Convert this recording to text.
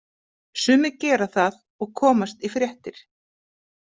Sumir gera það og komast í fréttir.